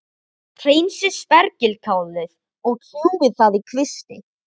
Hreinsið spergilkálið og kljúfið það í kvisti.